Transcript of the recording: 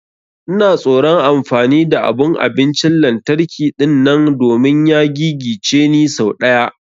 Ina tsoron amfani da abun abincin lantarki dinnan domin ya gigice ni sau daya.